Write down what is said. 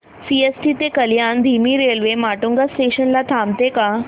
CST ते कल्याण धीमी railway Matunga station ला थांबते का